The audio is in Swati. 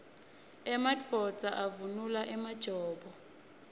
emadvodza avunula emajobo